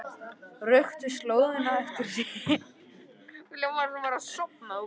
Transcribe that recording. Röktu slóðina eftir símtal